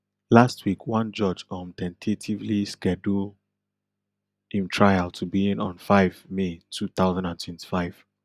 last week one judge um ten tatively schedule im trial to begin on five may two thousand and twenty-five